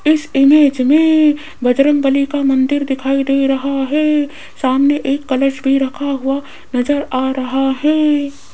इस इमेज में बजरंगबली का मंदिर दिखाई दे रहा है सामने एक कलश भी रखा हुआ नजर आ रहा है।